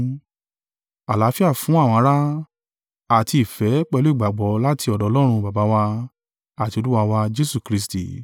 Àlàáfíà fún àwọn ará, àti ìfẹ́ pẹ̀lú ìgbàgbọ́, láti ọ̀dọ̀ Ọlọ́run Baba wà, àti Olúwa wà Jesu Kristi.